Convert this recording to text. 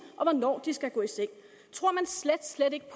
og hvornår de skal gå i seng tror man slet slet ikke